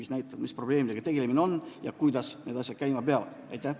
Sealt selgub, mis probleemidega tuleb tegeleda ja kuidas need asjad peavad käima.